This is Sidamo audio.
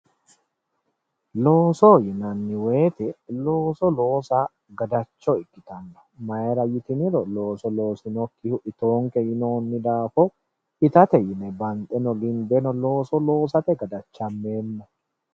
Looso, looso yineemmo woyte looso loossa gadacho ikkittano mayra yitinniro looso loosinokkihu ittonke yinnonni daafo ittatenni banxeno ginbeno looso loossate gadachameemmo.